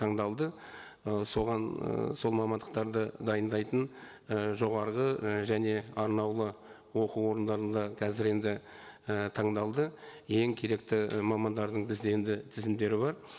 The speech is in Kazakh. таңдалды ы соған ыыы сол мамандықтарды дайындайтын ы жоғарғы і және арнаулы оқу орындары да қазір енді і таңдалды ең керекті мамандардың бізде енді тізімдері бар